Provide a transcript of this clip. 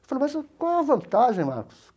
Eu falei, mas qual é a vantagem, Marcos?